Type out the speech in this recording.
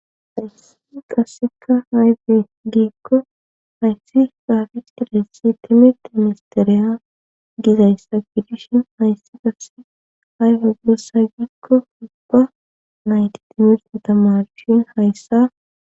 Hayssi qasseka hayze giikko hayssi saafic ilessi timirti imisteriya gizayssa fidishin hayssi qasse hayfe goossa giikko ubba nayti timirt tamarshin hayssa